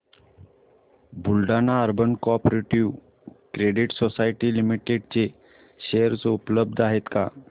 Buldhana urban cooperative credit society limited चे share उपलब्ध आहेत का